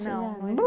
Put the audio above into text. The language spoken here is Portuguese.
Não, tiraram